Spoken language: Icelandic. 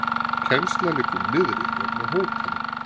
Kennsla liggur niðri vegna hótana